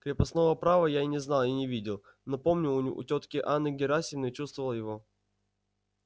крепостного права я не знал и не видел но помню у тётки анны герасимовны чувствовал его